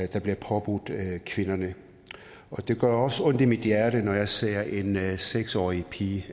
der bliver påbudt kvinderne og det gør også ondt i mit hjerte når jeg ser en seks årig pige